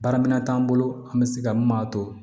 Baara minɛn t'an bolo an bɛ se ka mun m'a to